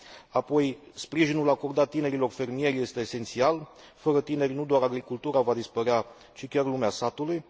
Apoi, sprijinul acordat tinerilor fermieri este esențial fără tineri nu doar agricultura va dispărea, ci chiar lumea satului.